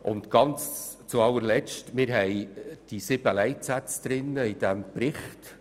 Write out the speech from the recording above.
Und noch ein letzter Punkt: Wir haben sieben Leitsätze im Bericht.